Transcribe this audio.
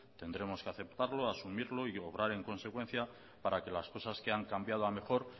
tendremos que aceptarlo asumirlo y obrar en consecuencia para que las cosas que han cambiado a mejor